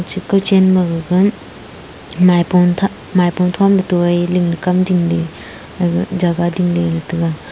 che kawchen magaga maipo thah maipo thomley toi ling am dingley jaga dingley ley taiga.